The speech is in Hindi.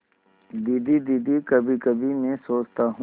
दीदी दीदी कभीकभी मैं सोचता हूँ